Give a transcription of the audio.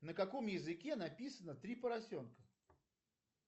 на каком языке написано три поросенка